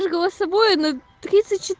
только собой на тридцать